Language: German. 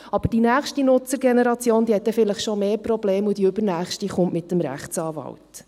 Aber die nächste Nutzergeneration hat vielleicht dann schon mehr Probleme, und die übernächste kommt mit dem Rechtsanwalt.